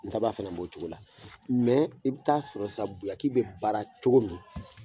Ngaba fana b' o cogo la, mɛ i bɛ taa sɔrɔ sisan biaki bɛ baara cogo min